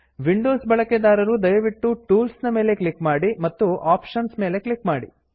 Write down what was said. Windows ಬಳಕೆದಾರರು ದಯವಿಟ್ಟು tools tools ನ ಮೇಲೆ ಕ್ಲಿಕ್ ಮಾಡಿ ಮತ್ತು ಆಪ್ಷನ್ಸ್ ಆಪ್ಶನ್ಸ್ ಮೇಲೆ ಕ್ಲಿಕ್ ಮಾಡಿ